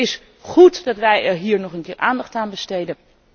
Het is goed dat wij er hier nog een keer aandacht aan besteden.